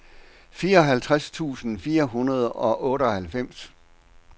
fireoghalvtreds tusind fire hundrede og otteoghalvfems